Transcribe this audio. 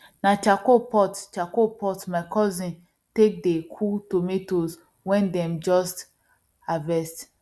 na charcoal pot charcoal pot my cousin take dey cool tomatoes wen them just harvest